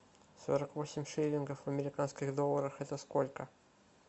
сорок восемь шиллингов в американских долларах это сколько